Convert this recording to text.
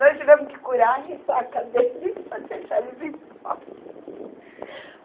Nós tivemos que curar a ressaca deles para deixar eles em paz.